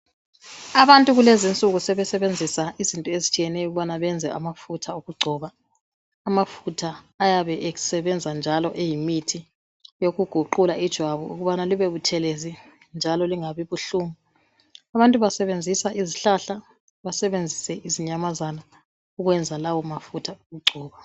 Abantu kulezi insuku sebesebenzisa izinto ezitshiyeneyo ukubana bayenze amafutha okungcoba, amafutha ayabe esebenza njalo eyimithi yokuguqula ijabu ukubana libebutshelezi njalo lingabi buhlungu. Abantu basebenzisa izihlahla besebenzise izinakazana ukwenza lawa mafutha okugcoba.